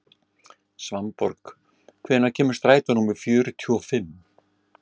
Svanborg, hvenær kemur strætó númer fjörutíu og fimm?